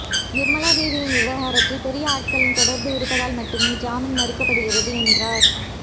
நிர்மலாதேவி விவகாரத்தில் பெரிய ஆட்களின் தொடர்பு இருப்பதால் மட்டுமே ஜாமின் மறுக்கப்படுகிறது என்றார்